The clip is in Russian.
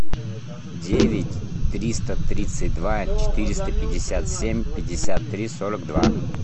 девять триста тридцать два четыреста пятьдесят семь пятьдесят три сорок два